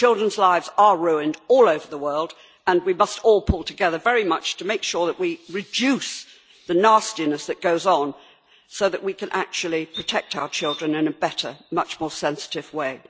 Children's lives are ruined all over the world, and we must all pull together very much to make sure that we reduce the nastiness that goes on, so that we can actually protect our children in a better, much more sensitive way.